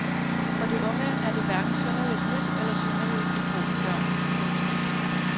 For de unge er det hverken synderligt nyt eller synderligt epokegørende. punktum